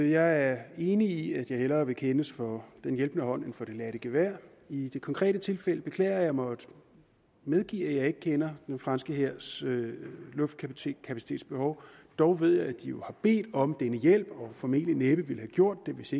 jeg er enig i at jeg hellere vil kendes for den hjælpende hånd end for det ladte gevær i det konkrete tilfælde beklager jeg at måtte medgive at jeg ikke kender den franske hærs luftkapacitetsbehov dog ved jeg at de har bedt om den hjælp og formentlig næppe ville have gjort det hvis